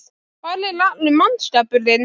Hvar er allur mannskapurinn?